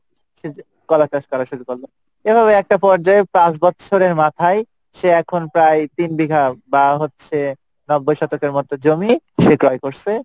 সে যে কলা চাষ করা শুরু করলো এভাবে একটা পর্জায় পাঁচ বছরের মাথায় সে এখন প্রায় তিন বিঘা বা হচ্ছে নব্বই শতকের মতো জমি সে ক্রয় করছে,